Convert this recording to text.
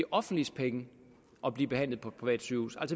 offentliges penge at blive behandlet på et privat sygehus